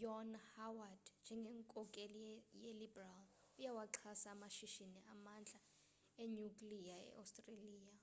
john howard njengenkokheli yeliberal uyawaxhasa amashishini amandla enyukliya eostreliya